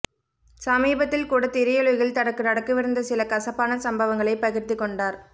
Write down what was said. சமீபத்தில் கூட திரையுலகில் தனக்கு நடக்கவிருந்த சில கசப்பான சம்பவங்களை பகிர்ந்து கொண்டார்